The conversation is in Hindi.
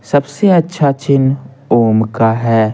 सबसे अच्छा चिन्ह ओम का है।